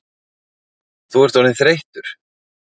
Þú ert orðinn þreyttur